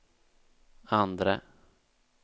andre